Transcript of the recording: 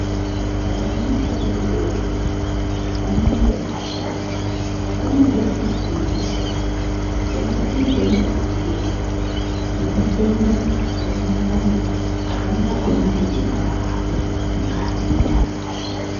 Vana vadodori pamwepo nevasharuka vanode kufundiswa kuti vadzitingwaririrei nematenda akawanda wanda avangakona kudhibana navo.